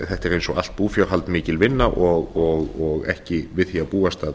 eins og allt búfjárhald mikil vinna og ekki við því að búast að